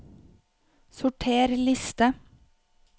Sorter liste